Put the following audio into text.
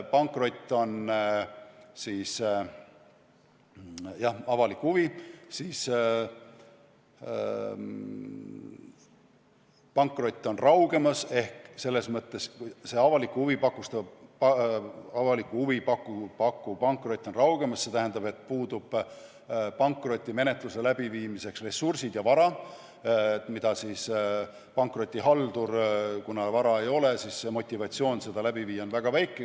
Pankrot on raugemas, see avalikku huvi pakkuv pankrot on raugemas, st pankrotimenetluseks puuduvad ressursid ja vara, ning kuna vara ei ole, siis on pankrotihalduri motivatsioon seda läbi viia väga väike.